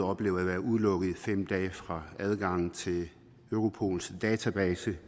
oplevet at være udelukket fra adgangen til europols database